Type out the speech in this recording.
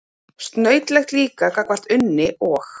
Snautlegt líka gagnvart Unni og